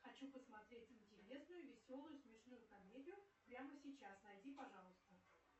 хочу посмотреть интересную веселую смешную комедию прямо сейчас найди пожалуйста